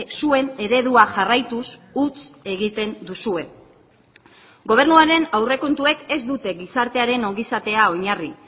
zuen eredua jarraituz huts egiten duzue gobernuaren aurrekontuek ez dute gizartearen ongizatea oinarri